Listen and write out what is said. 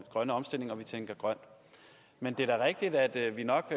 grønne omstilling og vi tænker grønt men det er da rigtigt at vi nok